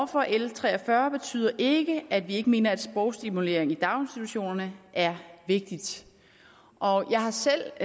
for l tre og fyrre betyder ikke at vi ikke mener at sprogstimulering i daginstitutionerne er vigtig jeg har selv